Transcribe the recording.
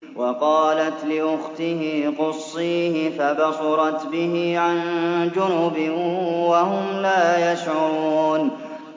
وَقَالَتْ لِأُخْتِهِ قُصِّيهِ ۖ فَبَصُرَتْ بِهِ عَن جُنُبٍ وَهُمْ لَا يَشْعُرُونَ